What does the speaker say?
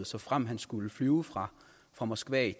såfremt han skulle flyve fra fra moskva